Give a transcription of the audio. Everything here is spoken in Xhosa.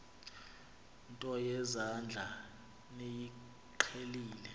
nto yezandla niyiqhelile